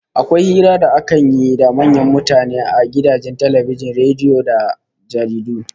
Akwai hira da akan yi da manyan mutane a gidajen talbijin, rediyo da jaridu